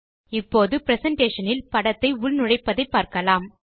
இப்போது பிரசன்டேஷன் இல் படத்தை உள் நுழைப்பதை பார்க்கலாம்